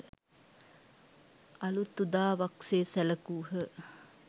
අලූත් උදාවක් සේ සැලකූහ